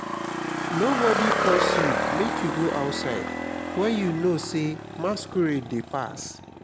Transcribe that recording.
nobody force you make you go outside wen you know say masquerade dey pass